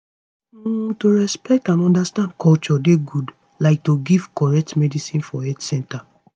um to respect and understand culture dey good like to give correct medicines for health center